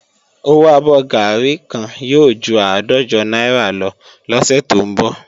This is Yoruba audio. Owó abọ́ gàárì kan yóò ju àádọ́jọ náírà lọ lọ́sẹ̀ tó ń bọ̀